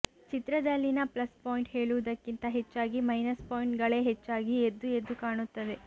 ಚಿತ್ರದಲ್ಲಿನ plus point ಹೇಳುವುದಕ್ಕಿಂತ ಹೆಚ್ಚಾಗಿ ಮೈನಸ್ ಪಾಯಿಂಟ್ ಗಳೇ ಹೆಚ್ಚಾಗಿ ಎದ್ದುಎದ್ದು ಕಾಣುತ್ತದೆ